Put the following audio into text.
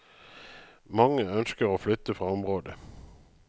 Mange ønsker å flytte fra området.